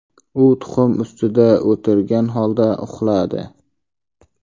U tuxum ustida o‘tirgan holda uxladi.